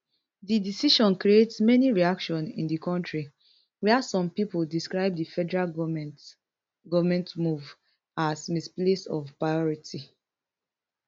di decision create many reaction in di kontri wia some pipo describe di federal goment move as misplacement of priority